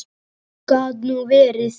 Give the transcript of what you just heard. Gat nú verið